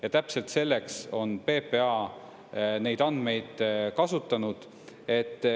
Ja täpselt selleks on PPA neid andmeid kasutanud.